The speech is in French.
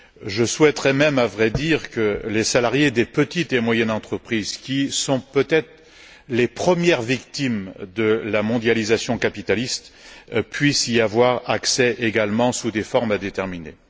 Je souhaiterais même, à vrai dire, que les salariés des petites et moyennes entreprises qui sont peut être les premières victimes de la mondialisation capitaliste puissent y avoir accès également sous des formes à déterminer.